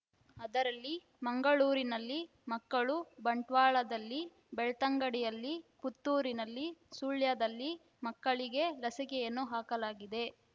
ಅದರಲ್ಲಿ ಮಂಗಳೂರಿನಲ್ಲಿ ಮಕ್ಕಳು ಬಂಟ್ವಾಳದಲ್ಲಿ ಬೆಳ್ತಂಗಡಿಯಲ್ಲಿ ಪುತ್ತೂರಿನಲ್ಲಿ ಸುಳ್ಯದಲ್ಲಿ ಮಕ್ಕಳಿಗೆ ಲಸಿಕೆಯನ್ನು ಹಾಕಲಾಗಿದೆ